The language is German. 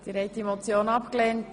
Abstimmung (Ziff. 1)